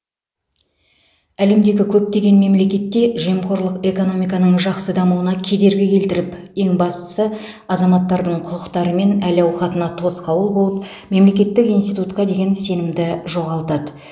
әлемдегі көптеген мемлекетте жемқорлық экономиканың жақсы дамуына кедергі келтіріп ең бастысы азаматтардың құқықтары мен әл ауқатына тосқауыл болып мемлекеттік институтқа деген сенімді жоғалтады